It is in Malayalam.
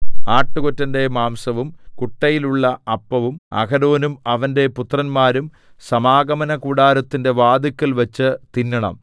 ആട്ടുകൊറ്റന്റെ മാംസവും കുട്ടയിലുള്ള അപ്പവും അഹരോനും അവന്റെ പുത്രന്മാരും സമാഗമനകൂടാരത്തിന്റെ വാതിൽക്കൽവച്ച് തിന്നണം